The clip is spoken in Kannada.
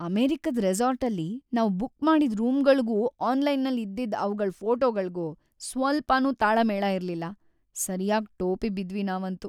ಅಮೆರಿಕದ್ ರೆಸಾರ್ಟಲ್ಲಿ ನಾವ್ ಬುಕ್‌ ಮಾಡಿದ್‌ ರೂಮ್‌ಗಳ್ಗೂ ಆನ್ಲೈನಲ್ ಇದ್ದಿದ್‌ ಅವ್ಗಳ್ ಫೋಟೋಗಳ್ಗೂ ಸ್ವಲ್ಪಾನೂ ತಾಳಮೇಳ ಇರ್ಲಿಲ್ಲ, ಸರ್ಯಾಗ್‌ ಟೋಪಿ ಬಿದ್ವಿ ನಾವಂತೂ.